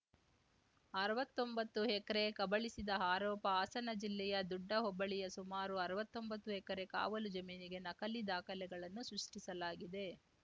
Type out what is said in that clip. ಅರ್ವತ್ತೊಂಬತ್ತು acre ಕಬಳಿಸಿದ ಆರೋಪ ಹಾಸನ ಜಿಲ್ಲೆಯ ದುಡ್ಡ ಹೋಬಳಿಯ ಸುಮಾರು ಅರ್ವತ್ತೊಂಬತ್ತು ಎಕರೆ ಕಾವಲು ಜಮೀನಿಗೆ ನಕಲಿ ದಾಖಲೆಗಳನ್ನು ಸೃಷ್ಟಿಸಲಾಗಿದೆ